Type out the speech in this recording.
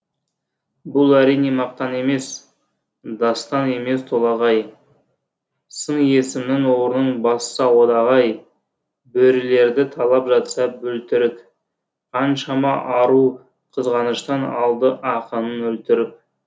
бұл әрине мақтан емес дастан емес толағай сын есімнің орнын басса одағай бөрілерді талап жатса бөлтірік қаншама ару қызғаныштан алды ақынын өлтіріп